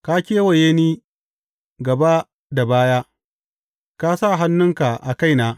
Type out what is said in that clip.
Ka kewaye ni, gaba da baya; ka sa hannunka a kaina.